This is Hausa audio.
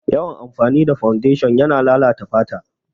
Yawan amfani da fawundeshin yana lalata fata